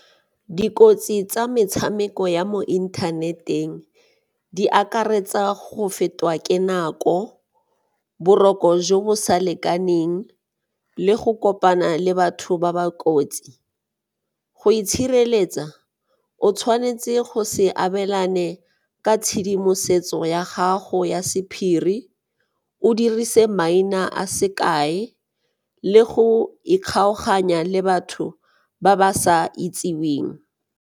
Dikotsi tsa metshameko ya mo inthaneteng di akaretsa go fetwa ke nako, boroko jo bo sa lekaneng le go kopana le batho ba ba kotsi. Go itshireletsa, o tshwanetse go se abelane ka tshedimosetso ya gago ya sephiri o dirise maina a sekae le go ikgolaganya le batho ba ba sa itseweng.